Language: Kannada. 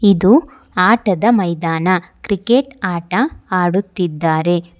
ಇದು ಆಟದ ಮೈದಾನ ಕ್ರಿಕೆಟ್ ಆಟ ಆಡುತ್ತಿದ್ದಾರೆ.